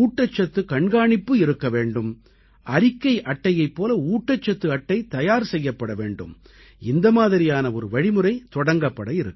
ஊட்டச்சத்துக் கண்காணிப்பு இருக்க வேண்டும் அறிக்கை அட்டையைப் போல ஊட்டச்சத்து அட்டை தயார் செய்யப்பட வேண்டும் இந்த மாதிரியான ஒரு வழிமுறை தொடங்கப்பட இருக்கிறது